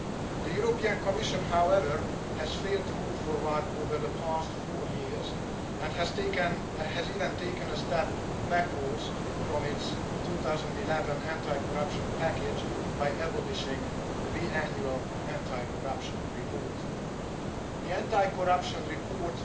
The European Commission, however, has failed to move forward over the past four years and has even taken a step backwards from its 2011 anti corruption package by abolishing the biannual Anti corruption Report.